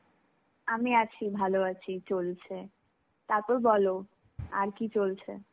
আমি আছি, ভালো আছি চলছে. তারপর বলো, আর কি চলছে?